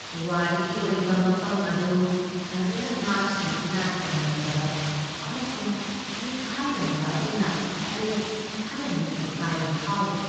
ꯄꯨꯋꯥꯔꯤꯒꯤ ꯑꯣꯏꯕ ꯃꯐꯝ ꯑꯗꯨ ꯐꯖꯅ ꯉꯥꯛꯁꯦꯟꯗꯨꯅ ꯊꯝꯂꯝꯗꯕ ꯑꯃꯁꯨꯡ ꯅꯤꯡꯈꯥꯏꯔꯝꯕ ꯑꯗꯨꯅ ꯑꯩ ꯈꯔ ꯅꯤꯡꯕ ꯀꯥꯏꯕ ꯐꯥꯎꯔꯤ ꯫